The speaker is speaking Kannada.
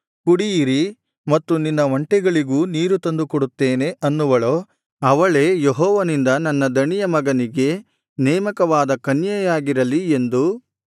ಕುಡಿಯಿರಿ ಮತ್ತು ನಿನ್ನ ಒಂಟೆಗಳಿಗೂ ನೀರು ತಂದು ಕೊಡುತ್ತೇನೆ ಅನ್ನುವಳೋ ಅವಳೇ ಯೆಹೋವನಿಂದ ನನ್ನ ದಣಿಯ ಮಗನಿಗೆ ನೇಮಕವಾದ ಕನ್ಯೆಯಾಗಿರಲಿ ಎಂದು